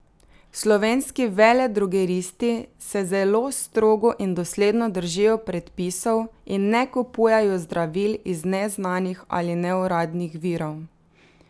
Slovenski veledrogeristi se zelo strogo in dosledno držijo predpisov in ne kupujejo zdravil iz neznanih ali neuradnih virov.